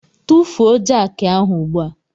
Tufuo jakị ahụ ugbu a!